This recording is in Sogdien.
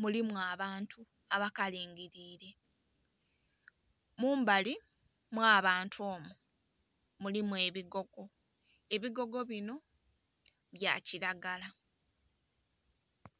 mulimu abantu abakalingiliire. Mumbali omw'abantu omwo mulimu ebigogo, ebigogo bino bya kilagala.